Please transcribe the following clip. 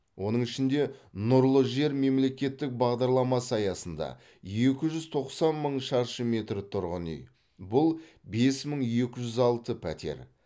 оның ішінде нұрлы жер мемлекеттік бағдарламасы аясында екі жүз тоқсан мың шаршы метр тұрғын үй бұл бес мың екі жүз алты пәтер